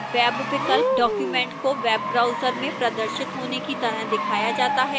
web विकल्प document को web browser में प्रदर्शित होने की तरह दिखाया जाता है